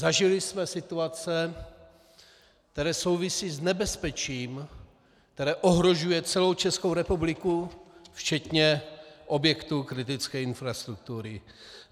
Zažili jsme situace, které souvisí s nebezpečím, které ohrožuje celou Českou republiku, včetně objektů kritické infrastruktury.